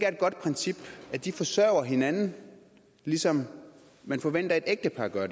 godt princip at de forsørger hinanden lige som man forventer at et ægtepar gør